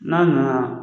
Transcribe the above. N'a nana